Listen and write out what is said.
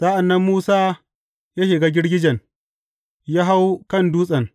Sa’an nan Musa ya shiga girgijen ya hau kan dutsen.